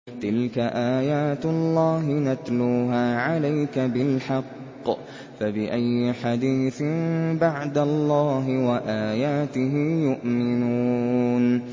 تِلْكَ آيَاتُ اللَّهِ نَتْلُوهَا عَلَيْكَ بِالْحَقِّ ۖ فَبِأَيِّ حَدِيثٍ بَعْدَ اللَّهِ وَآيَاتِهِ يُؤْمِنُونَ